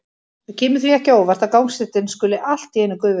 Það kemur því ekki á óvart að gangstéttin skuli allt í einu gufa upp.